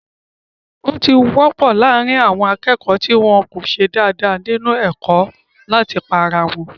Ó ti wọ́pọ̀ láàrín àwọn akẹ́kọ̀ọ́ tí wọ́n ko ṣe dáadáa nínu ẹ̀kọ́ wọn láti pá ara wọn